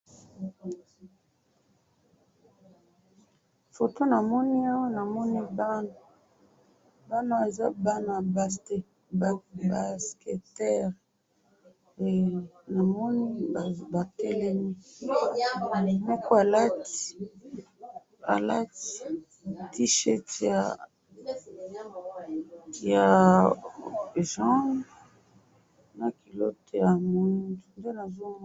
foto namoni awa namoni bana ,bana oyo baza bana ba ba basketteur he namoni batelemi moko alati alati t-shirt ya ya jaune na cullote ya mwindu nde nazomona .